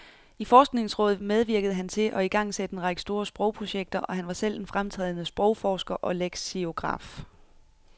I forskningsrådet medvirkede han til at igangsætte en række store sprogprojekter, og han var selv en fremtrædende sprogforsker og leksikograf.